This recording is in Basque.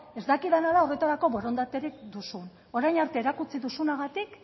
ez dakidana da horretarako borondaterik duzun orain arte erakutsi duzunagatik